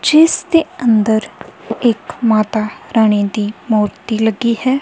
ਜਿਸ ਦੇ ਅੰਦਰ ਇੱਕ ਮਾਤਾ ਰਾਣੀ ਦੀ ਮੂਰਤੀ ਲੱਗੀ ਹੈ।